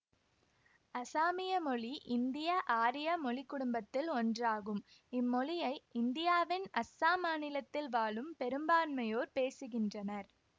அசாமிய மொழி இந்தியஆரிய மொழி குடும்பத்தில் ஒன்றாகும் இம்மொழியை இந்தியாவின் அஸ்ஸாம் மாநிலத்தில் வாழும் பெரும்பான்மையோர் பேசகின்றனர்